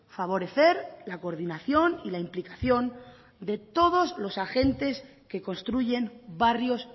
favorecer la coordinación y la implicación de todos los agentes que construyen barrios